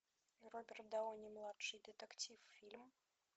роберт дауни младший детектив фильм